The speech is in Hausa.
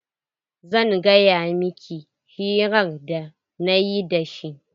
Zan gaya miki hirar da nayi da shi.